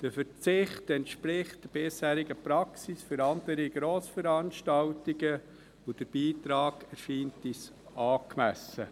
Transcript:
Der Verzicht entspricht der bisherigen Praxis für andere Grossveranstaltungen, und der Beitrag erscheint uns angemessen.